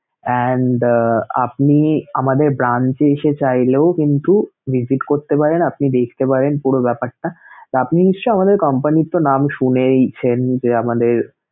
and আহ আপনি আমাদের brance এ এসে চাইলেও কিন্তু visit করতে পারেন, আপনি দেখতে পারেন পুরো ব্যাপারটা তো আপনি নিশ্চয়ই আমাদের company নাম তো শুনেইছেন যে আমাদের